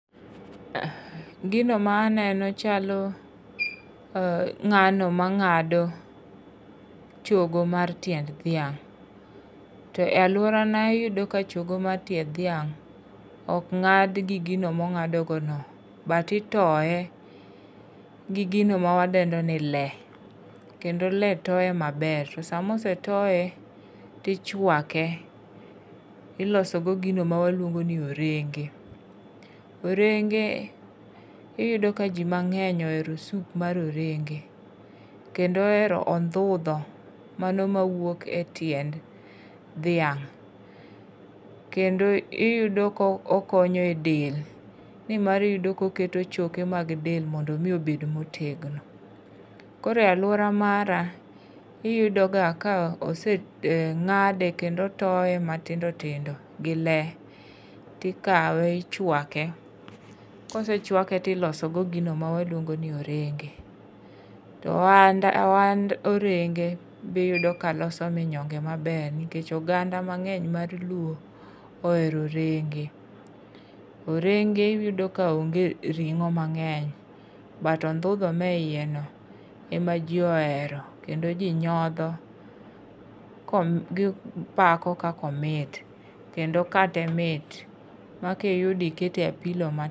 Gino ma aneno chalo um ng'ano mang'ado chogo mar tiend dhiang'. To e alworana iyudo ka chogo mar tiend dhiang', ok ng'adi gi gino ma mong'ado go no.But itoye gi gino ma wadendo ni le. Kendo le toye maber. Sama osetoye, tichwake, iloso go gino ma waluongo ni orenge. Orenge iyudo ka ji mang'eny ohero soup mar orenge. Kendo ohero ondhudho mano ma wuok e tiend dhiang'. Kendo iyudo ka okonyo e del, ni mar iyudo ka oketo choke mag del mondo omi obed motegno. Koro e alwora mara, iyudo ga ka ose[um] ng'ade kendo otoye matindo tindo gi le, tikawe ichwake. Kosechwake to iloso go gino ma ilwongo ni orenge. To ohand, ohand orenge, biyudo ka loso manyonge maber. Nikech oganda mang'eny mar luo ohero orenge. Orenge iyudo ka onge ring'o mang'eny. But ondhudho mae iye no, ema ji ohero, kendo ji nyodho gipako kaka omit. Kendo kate mit, ma kiyudo ikete apilo ma